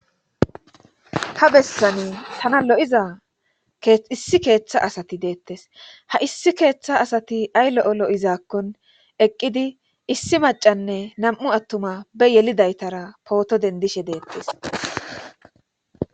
Ha bessani tana lo7iza issi keeththa asati deettes ha issi keeththa asati ay lo7o lo7izaakkon eqqidi issi macanne nam7u attuma be yelidaytara pooto dendishe deettes